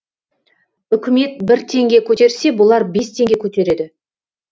үкімет бір теңге көтерсе бұлар бес теңге көтереді